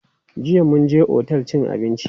Jiya mun je otel cin abinci.